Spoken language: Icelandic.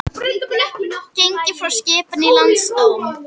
Gengið frá skipan í Landsdóm